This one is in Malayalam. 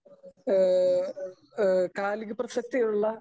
സ്പീക്കർ 2